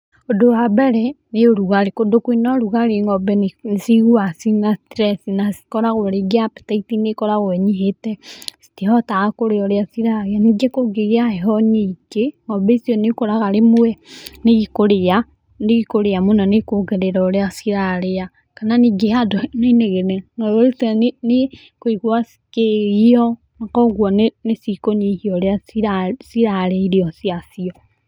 Ũndũ wa mbere, nĩ ũrugarĩ. Kũndũ kwĩna ũrugarĩ ng'ombe nĩciguaga ciĩna stress na cikoragwo rĩngĩ apetaiti nĩ ĩkoragwo ĩnyihĩte, citihotaga kũrĩa ũrĩa cirarĩa. Ningĩ kũngĩgĩa heho nyingĩ, ng'ombe icio nĩũkoraga rĩmwe nĩikũrĩa, nĩikũrĩa mũno nĩikũongerera ũrĩa cirarĩa, kana ningĩ handũ hena inegene, ng'ombe icio nĩikũigua cikĩgio, na koguo nĩcikũnyihia ũrĩa cirarĩa irio ciacio.